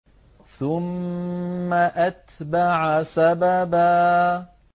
ثُمَّ أَتْبَعَ سَبَبًا